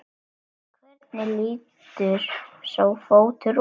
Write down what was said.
Hvernig lítur sá fótur út?